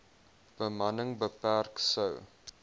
bemanning beperk sou